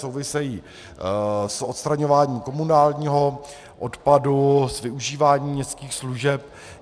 Souvisejí s odstraňováním komunálního odpadu, s využíváním městských služeb.